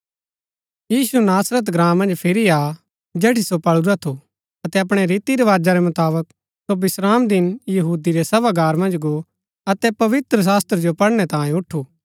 यीशु नासरत ग्राँ मन्ज फिरी आ जेठी सो पळुरा थू अतै अपणै रीतिरवाजा रै मुताबक सो विश्रामदिन यहूदी रै सभागार मन्ज गो अतै पवित्रशास्त्र जो पढ़नै तांई ऊठु